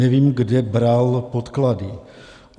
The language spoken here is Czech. Nevím, kde bral podklady.